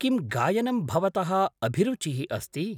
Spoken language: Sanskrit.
किं गायनं भवतः अभिरुचिः अस्ति?